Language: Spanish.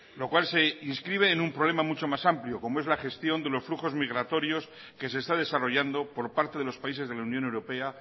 lo cual se inscribe en un problema mucho más amplio como es la gestión de los flujos migratorios que se está desarrollando por parte de los países de la unión europea